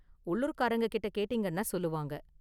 உள்ளூர்காரங்ககிட்ட கேட்டீங்கன்னா சொல்லுவாங்க.